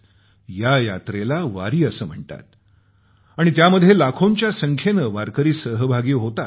या यात्रेला वारी असं म्हणतात आणि त्यामध्ये लाखोंच्या संख्येने वारकरी सहभागी होतात